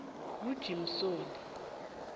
kujimsoni